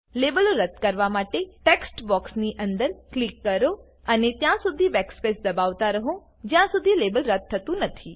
લેબલો રદ્દ કરવા માટે ટેક્સ્ટ બોક્સની અંદર ક્લિક કરો અને ત્યાં સુધી બેકસ્પેસ દબાવતા રહો જ્યાં સુધી લેબલ રદ્દ થતું નથી